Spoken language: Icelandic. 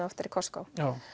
oftar í Costco